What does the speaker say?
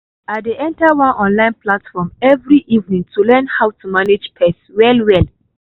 i dey enter one online platform every evening to learn how to manage pest well well.